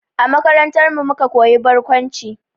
A makarantarmu muka koyi barkwanci